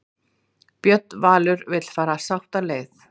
Björn Valur vill fara sáttaleið